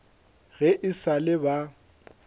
ge e sa le ba